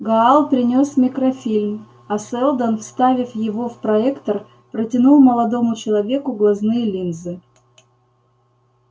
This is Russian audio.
гаал принёс микрофильм а сэлдон вставив его в проектор протянул молодому человеку глазные линзы